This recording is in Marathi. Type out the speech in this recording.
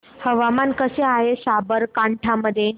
हवामान कसे आहे साबरकांठा मध्ये